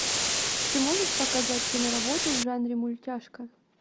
ты можешь показать киноработу в жанре мультяшка